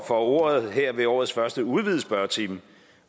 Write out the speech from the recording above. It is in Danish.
for ordet her ved årets første udvidede spørgetime